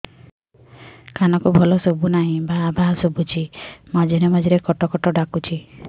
କାନକୁ ଭଲ ଶୁଭୁ ନାହିଁ ଭାଆ ଭାଆ ଶୁଭୁଚି ମଝିରେ ମଝିରେ କଟ କଟ ଡାକୁଚି